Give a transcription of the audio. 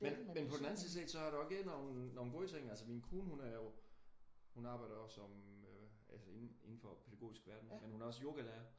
Men på den anden side set så er der igen nogle nogle gode ting. Altså min kone hun er jo hun arbejder også som altså indenfor den pædagogiske verden men hun er også yogalærer